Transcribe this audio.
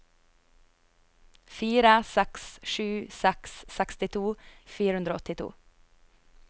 fire seks sju seks sekstito fire hundre og åttito